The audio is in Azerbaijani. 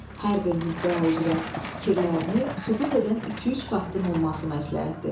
Hər bir müddəa üzrə fikirlərini sübut edən iki-üç faktın olması məsləhətdir.